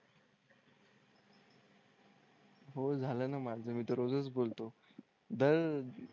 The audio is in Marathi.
हो झालं ना माझं मी तर रोज च बोलतो दर